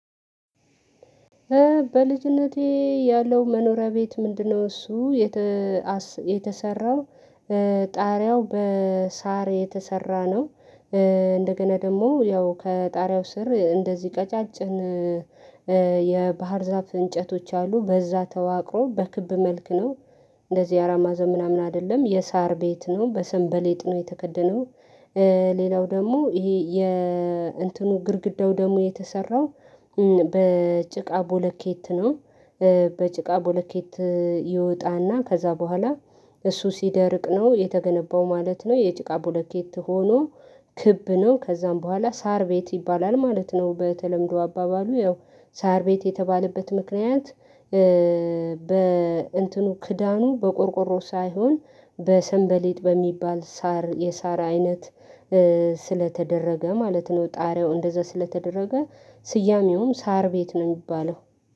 በልጅነቴ ያለው መኖሪያ ቤት ምንድነው? እሱ የተሰራው ጣሪያው በሳር የተሰራ ነው። እንደገና ደግሞ ያው ከጣሪያው ስር እንደዚህ ቀጫጭን የባህር ዛፍ እንጨቶች አሉ በዛ ተዋቅሮ በክብ መልክ ነው። እንደዚህ አራት ማዕዘን ምናምን አይደለም የሳር ቤት ነው በሰንበሌጥ ነው የተከደነው። ሌላው ደግሞ ይሄ የእንትኑ ግድግዳው ደግሞ የተሰራው በጭቃ ቦለኬት ነው። በጭቃ ቦለኬት ይወጣና ከዛ በኋላ እሱ ሲደርቅ ነው የተገነባው ማለት ነው። የጭቃ ቦለኬት ሆኖ ክብ ነው ከዛም በኋላ ሳር ቤት ይባላል ማለት ነው። በተለምዶ አባባሉ ያው ሳር ቤት የተባለበት ምክንያት በእንትኑ ክዳኑ በቆርቆሮ ሳይሆን በሰንበሌጥ በሚባል ሳር የሳራ አይነት ስለተደረገ ማለት ነው። ጣሪያው እንደዛ ስለተደረገ ስያሜውም ሳር ቤት ነው የሚባለው።